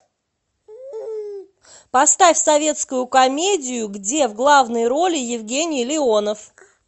поставь советскую комедию где в главной роли евгений леонов